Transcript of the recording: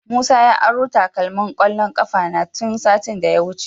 Musa ya aro takalmina na kwallon kafa tun satin da ya wuce.